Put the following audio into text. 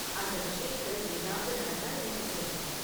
அந்த விஷயத்துல ஏதாவது நடந்தா எனக்கு சொல்லு